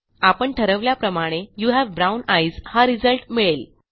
आपण ठरवल्याप्रमाणे you have brown eyes हा रिझल्ट मिळेल